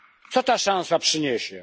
Co ta szansa przyniesie?